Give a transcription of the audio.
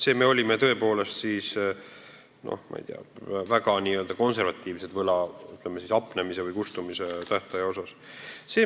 Me olime võla hapnemise või kustumise tähtaja osas tõepoolest väga konservatiivsed.